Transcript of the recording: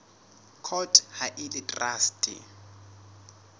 court ha e le traste